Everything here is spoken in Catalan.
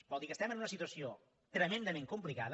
vol dir que estem en una situació tremendament complicada